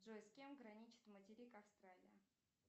джой с кем граничит материк австралия